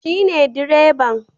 Shi ne direban